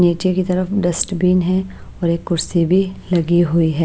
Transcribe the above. नीचे की तरफ डस्ट बिन हैऔर एक कुर्सी भी लगी हुई है।